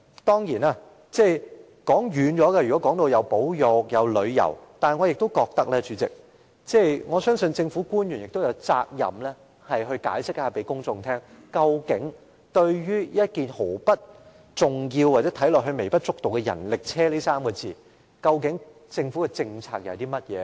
當然，談保育、談旅遊，可能扯得很遠，但我相信，政府官員亦有責任向公眾解釋，究竟對看似毫不重要，又微不足道的人力車，究竟政府的政策是甚麼？